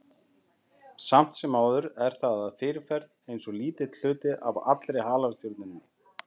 Samt sem áður er það að fyrirferð aðeins lítill hluti af allri halastjörnunni.